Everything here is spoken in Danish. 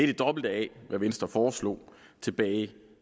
det dobbelte af hvad venstre foreslog tilbage